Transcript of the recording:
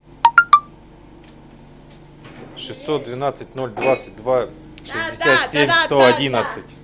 шестьсот двенадцать ноль двадцать два шестьдесят семь сто одиннадцать